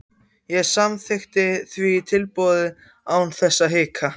Ég samþykkti því tilboðið án þess að hika.